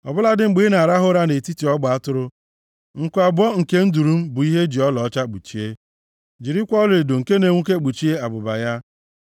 Ọ bụladị mgbe ị na-arahụ ụra nʼetiti ọgba atụrụ, nku abụọ nke nduru m bụ ihe e ji ọlaọcha kpuchie, jirikwa ọlaedo nke na-enwuke kpuchie abụba ya.